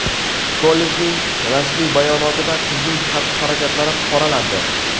Kollejning rasmiy bayonotida qizning xatti-harakatlari qoralandi.